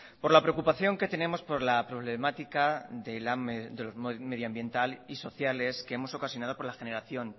por la preocupación que tenemos por la problemática medioambiental y sociales que hemos ocasionado por la generación